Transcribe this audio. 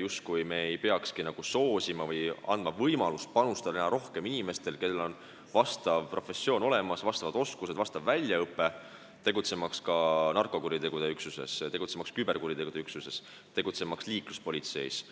justkui me ei peakski andma võimalust rohkem panustada nendel inimestel, kellel on vastav professioon ja vajalikud oskused ning väljaõpe, et tegutseda ka narkokuritegude üksuses, küberkuritegude üksuses või liikluspolitseis.